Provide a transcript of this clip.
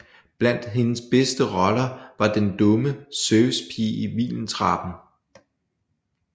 Blandt hendes bedste roller var den dumme servicepige i Vindeltrappen